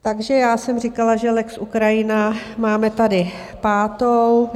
Takže já jsem říkala, že lex Ukrajina, máme tady pátou.